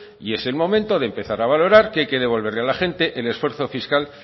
y es el momento de empezar a valorar que hay que devolverle a la gente es esfuerzo fiscal